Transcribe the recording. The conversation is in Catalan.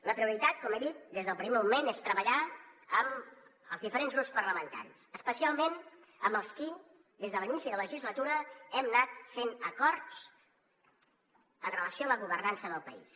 la prioritat com he dit des del primer moment és treballar amb els diferents grups parlamentaris especialment amb els qui des de l’inici de legislatura hem anat fent acords amb relació a la governança del país